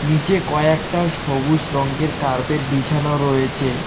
নীচে কয়েকটা সবুজ রঙ্গের কার্পেট বিছানো রয়েছে।